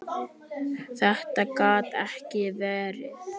Þetta gat ekki verið.